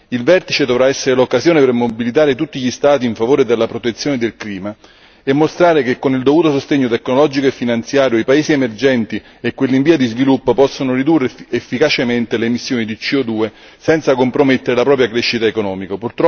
Il vertice dovrà essere l'occasione per mobilitare tutti gli Stati in favore della protezione del clima e mostrare che, con il dovuto sostegno tecnologico e finanziario, i paesi emergenti e quelli in via di sviluppo possono ridurre efficacemente le emissioni di CO 2 senza compromettere la propria crescita economica.